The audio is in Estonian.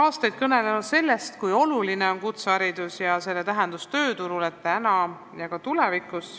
aastaid kõnelenud sellest, kui oluline on kutseharidus ja milline on selle tähendus tööturul täna ja ka tulevikus.